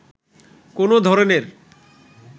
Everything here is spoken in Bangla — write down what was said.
কোনো ধরনের